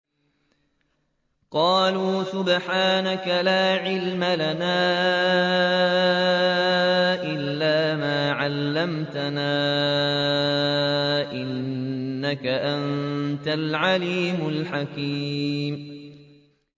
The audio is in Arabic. قَالُوا سُبْحَانَكَ لَا عِلْمَ لَنَا إِلَّا مَا عَلَّمْتَنَا ۖ إِنَّكَ أَنتَ الْعَلِيمُ الْحَكِيمُ